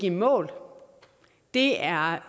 i mål det er